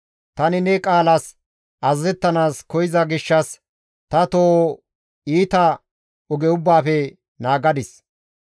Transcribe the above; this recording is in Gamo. Tani ne qaalas azazettanaas koyza gishshas ta toho iita oge ubbaafe naagadis.